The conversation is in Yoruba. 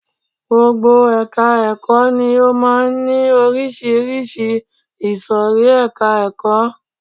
Gbogbo ẹka ẹ̀kọ́ ni ó máà ń ní oríṣiríṣi ìsòrí ẹka ẹ̀kọ́.